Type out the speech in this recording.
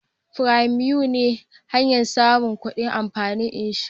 " premium " ne hanyan samun kudin kamfanin inshora